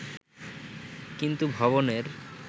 কিন্তু ভবনের